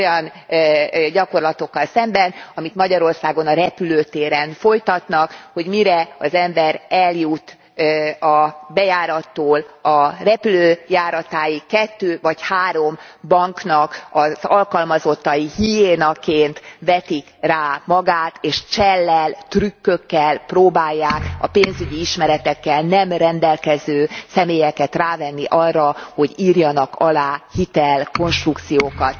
az olyan gyakorlatokkal szemben, amit Magyarországon a repülőtéren folytatnak mire az ember eljut a bejárattól a repülőjáratáig, kettő vagy három bank alkalmazottai hiénaként vetik rá magukat, és csellel, trükkökkel próbálják a pénzügyi ismeretekkel nem rendelkező személyeket rávenni arra, hogy írjanak alá hitelkonstrukciókat.